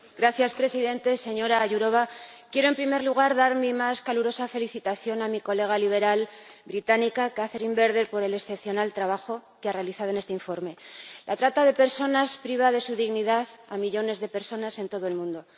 Señor Presidente, señora Jourová, quiero en primer lugar dar mi más calurosa felicitación a mi colega liberal británica, Catherine Bearder, por el excepcional trabajo que ha realizado en este informe. La trata de personas priva de su dignidad a millones de personas en todo el mundo.